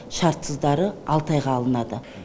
шартсыздары алты айға алынады